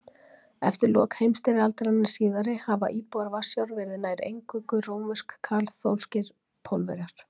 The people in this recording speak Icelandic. Eftir lok heimstyrjaldarinnar síðari hafa íbúar Varsjár verið nær eingöngu rómversk-kaþólskir Pólverjar.